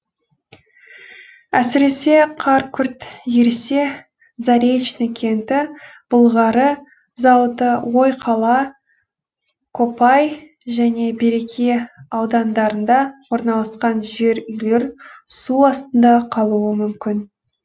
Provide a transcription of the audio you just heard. әсіресе қар күрт ерісе заречный кенті былғары зауыты ойқала копай және береке аудандарында орналасқан жер үйлер су астында қалуы мүмкін